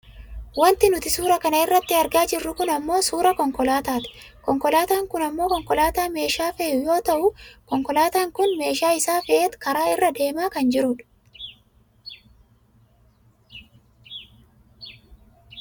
Wanti nuti suuraa kana irratti argaa jirru kun ammoo suuraa konkolaataati. Konkolaataan kun ammoo konkolaataa meeshaa fe'u yoo ta'u konkolaataan kun meeshaa isaa fe'ateet karaa irra deemaa kan jiru dha.